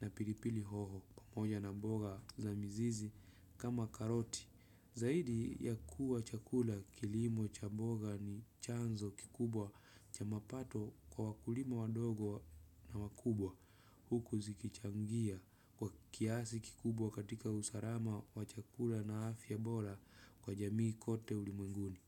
na pilipili hoho pamoja na mboga za mzizi kama karoti. Zaidi ya kuwa chakula kilimo cha mboga ni chanzo kikubwa cha mapato kwa wakulima wadogo na wakubwa. Huku zikichangia kwa kiasi kikubwa katika usalama wa chakula na afya bora kwa jamii kote ulimwenguni.